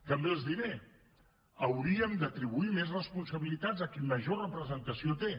també els diré hauríem d’atribuir més responsabilitats a qui major representació té